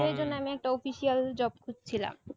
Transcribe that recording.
সেই জন্য আমি একটা official job খুজছিলাম